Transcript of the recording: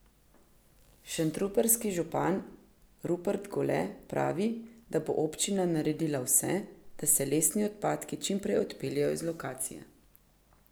Šentrupertski župan Rupert Gole pravi, da bo občina naredila vse, da se lesni odpadki čim prej odpeljejo z lokacije.